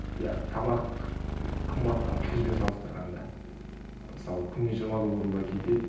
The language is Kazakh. иә тамақ қымбаттау бізбен салыстырғанда мысалы күніне жиырма доллардай кетеді